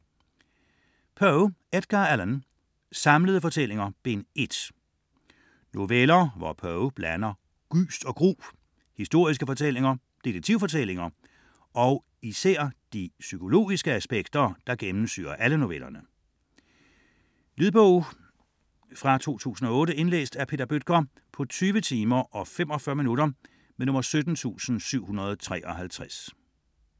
Poe, Edgar Allan: Samlede fortællinger: Bind 1 Noveller, hvor Poe blander gys og gru, historiske fortællinger, detektivfortællinger og især de psykologiske aspekter, som gennemsyrer alle novellerne. Lydbog 17753 Indlæst af Peter Bøttger, 2008. Spilletid: 20 timer, 45 minutter.